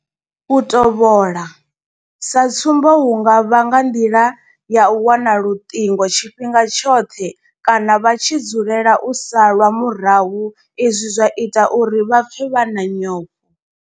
U tovhola sa tsumbo hu nga vha nga nḓila ya u wana luṱingo tshifhinga tshoṱhe kana vha tshi dzulela u salwa murahu izwi zwa ita uri vha pfe vha na nyofho.